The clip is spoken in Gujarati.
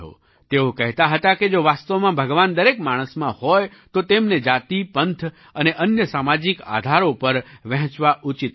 તેઓ કહેતા હતા કે જો વાસ્તવમાં ભગવાન દરેક માણસમાં હોય તો તેમને જાતિ પંથ અને અન્ય સામાજિક આધારો પર વહેંચવા ઉચિત નથી